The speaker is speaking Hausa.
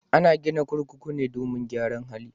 Ana gina kurkuku ne domin gyaran hali.